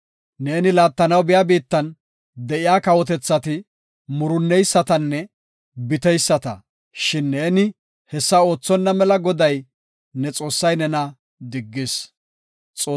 Neeni laattanaw biya biittan de7iya kawotethati murunneysatanne biteyisata; shin ne hessa oothonna mela Goday ne Xoossay nena diggis.